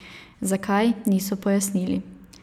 Zakaj, niso pojasnili.